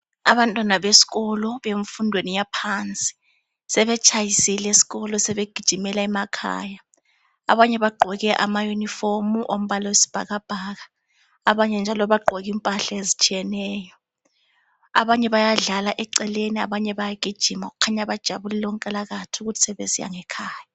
Abantwana besikolo bemfundweni yaphansi sebetshayisile esikolo sebegijimela emakhaya. Abanye bagqoke amayunifomu ombala wesibhakabhaka abanye njalo bagqoke impahla ezitshiyeneyo. Abanye bayadlala eceleni abanye bayagijima kukhanya bajabulile onkalakatha ukuthi sebesiya ngekhaya.